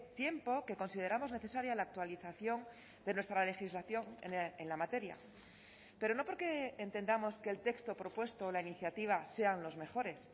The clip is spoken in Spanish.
tiempo que consideramos necesaria la actualización de nuestra legislación en la materia pero no porque entendamos que el texto propuesto o la iniciativa sean los mejores